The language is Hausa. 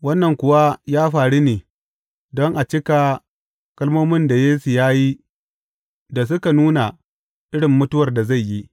Wannan kuwa ya faru ne don a cika kalmomin da Yesu ya yi da suka nuna irin mutuwar da zai yi.